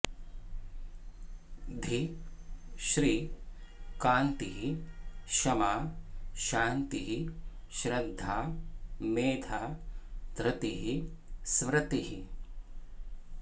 धीः श्री कान्तिः क्षमा शान्तिः श्रद्धा मेधा धृतिः स्मृतिः